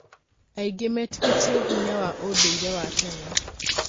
Aĩngĩ metĩkĩtĩe hinya wa ũndũire wa tene.